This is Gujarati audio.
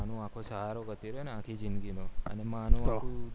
આનું આખો સહારો કેવાય ને આખી જીંદગી નો